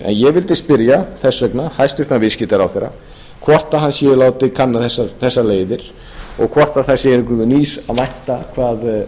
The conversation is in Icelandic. ég vildi spyrja þess vegna hæstvirtur viðskiptaráðherra hvort hann sé að láta kanna þessar leiðir og hvort það sé einhvers nýs að vænt hvað